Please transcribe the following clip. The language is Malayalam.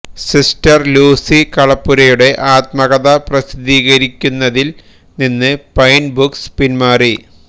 സിസ്റ്റര് ലൂസി കളപ്പുരയുടെ ആത്മകഥ പ്രസിദ്ധീകരിക്കുന്നതില് നിന്ന് പൈന് ബുക്സ് പിന്മാറി